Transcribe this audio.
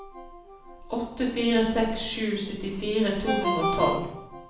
åtte fire seks sju syttifire to hundre og tolv